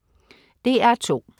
DR2: